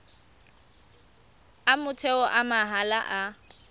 a motheo a mahala a